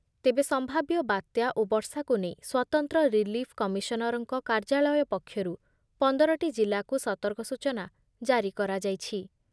ତେବେ ସମ୍ଭାବ୍ୟ ବାତ୍ୟା ଓ ବର୍ଷାକୁ ନେଇ ସ୍ଵତନ୍ତ୍ର ରିଲିଫ୍ କମିଶନରଙ୍କ କାର୍ଯ୍ୟାଳୟ ପକ୍ଷରୁ ପନ୍ଦର ଟି ଜିଲ୍ଲାକୁ ସତର୍କ ସୂଚନା ଜାରି କରାଯାଇଛି ।